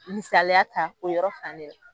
Misaliya ta o yɔrɔ fan de la.